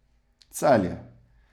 Celje.